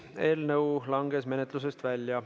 Eelnõu langes menetlusest välja.